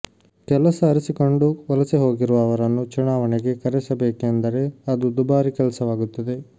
ಕೆಲಸ ಅರಸಿಕೊಂಡು ವಲಸೆ ಹೋಗಿರುವ ಅವರನ್ನು ಚುನಾವಣೆಗೆ ಕರೆಸಬೇಕೆಂದರೆ ಅದು ದುಬಾರಿ ಕೆಲಸವಾಗುತ್ತದೆ